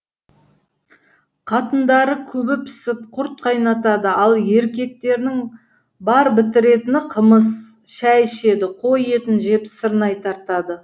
қатындары күбі пісіп құрт қайнатады ал еркектерінің бар бітіретіні қымыз шай ішеді қой етін жеп сырнай тартады